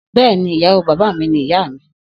Bẹ́ẹ̀ni, ìyàwó bàbá mí ni ìyá mi